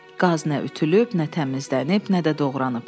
Qaz nə ütülüb, nə təmizlənib, nə də doğranıb.